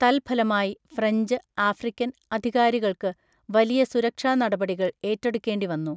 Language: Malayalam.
തൽഫലമായി, ഫ്രഞ്ച്, ആഫ്രിക്കൻ അധികാരികൾക്ക് വലിയ സുരക്ഷാ നടപടികൾ ഏറ്റെടുക്കേണ്ടി വന്നു.